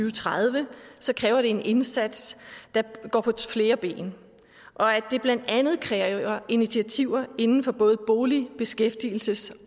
og tredive så kræver det en indsats der går på flere ben og at det blandt andet kræver initiativer inden for både bolig beskæftigelses